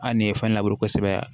Ali ni ye fɛn labure kosɛbɛ